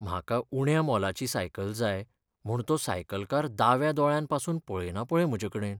म्हाका उण्या मोलाची सायकल जाय म्हूण तो सायकलकार दाव्या दोळ्यान पासून पळयना पळय म्हजेकडेन.